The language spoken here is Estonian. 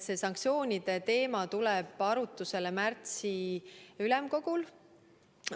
See sanktsioonide teema tuleb arutusele märtsi ülemkogul.